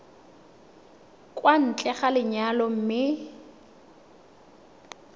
kwa ntle ga lenyalo mme